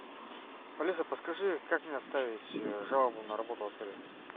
алиса подскажи как мне оставить жалобу на работу отеля